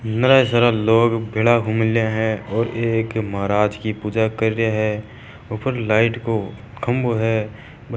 नरा ही सारा लोग भेला हो मेलिया है और एक महाराज की पूजा कर रिया है ऊपर लाईट को खम्भों है।